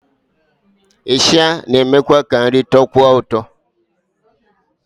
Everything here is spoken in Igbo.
Ịsha na-emekwu ka nri tọọkwuo ụtọ